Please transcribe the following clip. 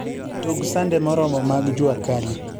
tug sande moromo mag Juacali